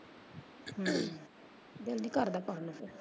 ਦਿਲ ਨੀ ਕਰਦਾ ਪਾਉਣ ਨੂੰ ਫਿਰ।